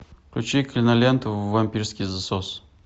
включи киноленту вампирский засос